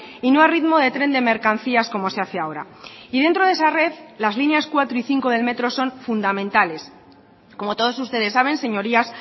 y no a ritmo de tren de mercancías como se hace ahora y dentro de esa red las líneas cuatro y cinco del metro son fundamentales como todos ustedes saben señorías